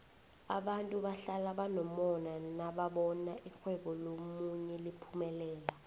abantu bahlala banomona nababona irhwebo lomunye liphumelela